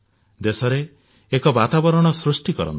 ଦେଶରେ ଏକ ବାତାବରଣ ସୃଷ୍ଟି କରନ୍ତୁ